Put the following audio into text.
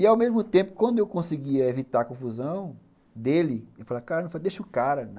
E ao mesmo tempo, quando eu conseguia evitar a confusão dele, eu falava, cara, deixa o cara.